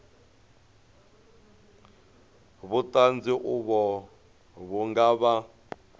vhuṱanzi uvho vhu nga vha